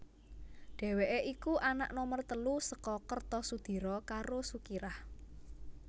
Dhèwèké iku anak nomer telu saka Kertosudiro karo Sukirah